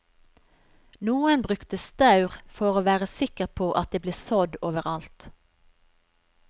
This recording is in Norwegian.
Noen brukte staur for å være sikker på at det ble sådd over alt.